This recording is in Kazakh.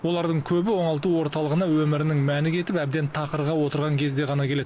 олардың көбі оңалту орталығына өмірінің мәні кетіп әбден тақырға отырған кезде ғана келеді